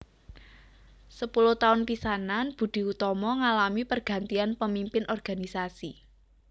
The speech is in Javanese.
Sepuluh taun pisanan Budi Utomo ngalami pergantian pemimpin organisasi